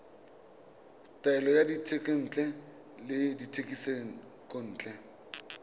taolo ya dithekontle le dithekisontle